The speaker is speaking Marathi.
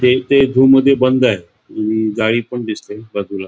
झू मध्ये बंद आहे गाई पण दिसते बाजूला.